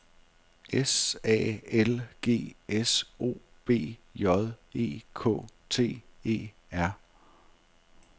S A L G S O B J E K T E R